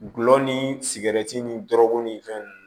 Gulɔ ni sigɛrɛti ni dɔrɔgu ni fɛn ninnu